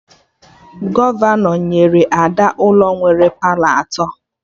Gọvanọ nyere Ada ụlọ nwere Palọ atọ